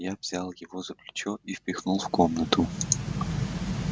я взял его за плечо и впихнул в комнату